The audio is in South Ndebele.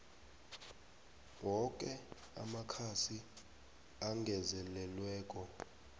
woke amakhasi angezelelweko